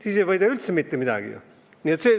Siis ei võida ma üldse mitte midagi ju!